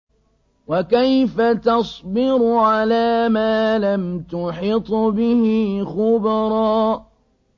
وَكَيْفَ تَصْبِرُ عَلَىٰ مَا لَمْ تُحِطْ بِهِ خُبْرًا